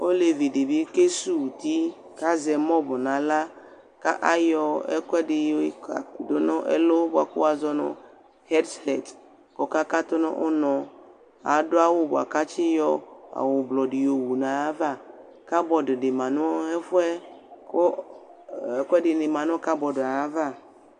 Olevidɩ bɩ ke suw' uti k'azɛ mɔvʋ n'aɣla; ka ayɔ ɛkʋɛdɩ yɔdʋ n'ɛlʋ bʋa kʋ wʋazɔ nʋ hɛps hɛd k'ɔka katʋ n'ʋnɔ Adʋ awʋ bʋa k'atsɩ yɔ awʋblɔ dɩ yowu -ayava Kabɔdɩ dɩ ma n'ɛfʋɛ, kʋ ɔ ɛkʋɛdɩnɩ ma nʋ kabɔdɩ yɛ ava